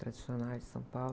Tradicionais de São Paulo.